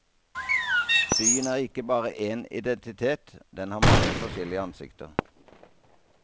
Byen er ikke bare én identitet, den har mange forskjellige ansikter.